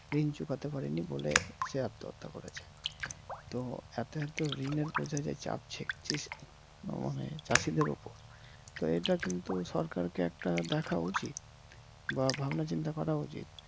ঋণ চুকাতে পারে নি বলে সে আত্মহত্যা করেছে । তো এতো এতো ঋণের বোঝা যে চাপছে চাষিদের উপর তো এইটা কিন্তু সরকার কে একটা দেখা উচিত বা ভাবনা চিন্তা করা উচিত।